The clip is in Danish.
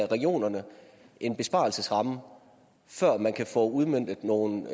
regionerne en besparelsesramme før man kan få udmøntet nogle